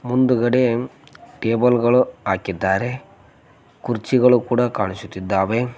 ಮುಂದ್ಗಡೆ ಟೇಬಲ್ ಗಳು ಹಾಕಿದ್ದಾರೆ ಕುರ್ಚಿಗಳು ಕೂಡ ಕಾಣಿಸುತ್ತಿದ್ದಾವೆ.